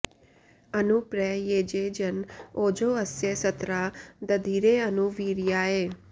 अनु प्र येजे जन ओजो अस्य सत्रा दधिरे अनु वीर्याय